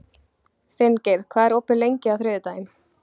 Finngeir, hvað er opið lengi á þriðjudaginn?